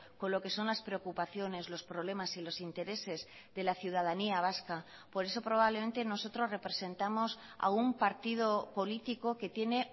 con lo que son las preocupaciones los problemas y los intereses de la ciudadanía vasca por eso probablemente nosotros representamos a un partido político que tiene